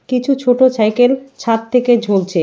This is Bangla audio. কিছু ছোট সাইকেল ছাদ থেকে ঝুলছে।